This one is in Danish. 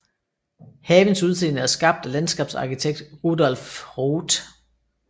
Havens udseende er skabt af landskabsarkitekt Rudolph Rothe